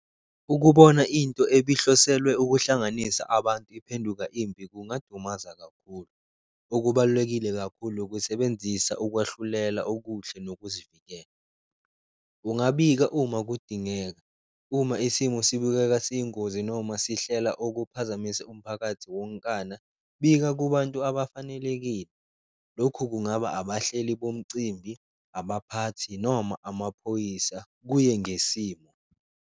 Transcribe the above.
Ukubona into ebihloselwe ukuhlanganisa abantu iphenduka impi kungadumaza kakhulu, okubalulekile kakhulu ukusebenzisa ukwahlulela okuhle nokuzivikela. Kungabika uma kudingeka uma isimo sibukeka siyingozi noma sihlela ukuphazamisa umphakathi wonkana, bika kubantu abafanelekile, lokhu kungaba abahleli bomcimbi, abaphathi noma amaphoyisa kuye ngesimo.